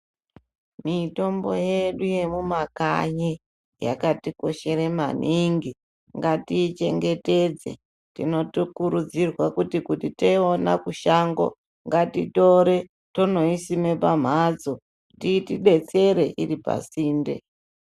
Mitombo yedu yemumakanyi yakatikoshera maningi ngatiichengetedze tinotokurudzirwa kuti taiwona kushango ngatitore tonoisima pamhatso .